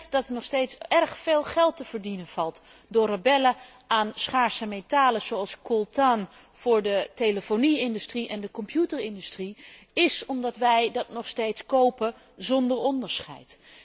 Dat er nog steeds erg veel geld te verdienen valt door rebellen aan schaarse metalen, zoals coltan voor de telefonie industrie en de computerindustrie, komt omdat wij dat nog steeds kopen zonder onderscheid.